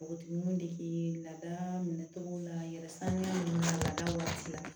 Npogotigininw dege lada minɛ cogo la yɛrɛ sanuya ninnu lada waati la